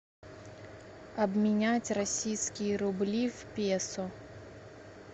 обменять российские рубли в песо